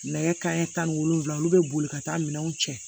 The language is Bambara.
Nɛgɛ kanɲɛ tan ni wolonwula olu bɛ boli ka taa minɛnw cɛ